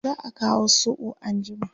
za'a Kawo soɓo anjima